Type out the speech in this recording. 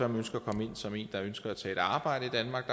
ønsker at komme ind som en der ønsker at tage et arbejde i danmark